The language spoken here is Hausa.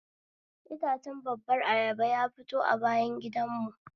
Itacen babbar ayaba ya fito a bayan gidan mu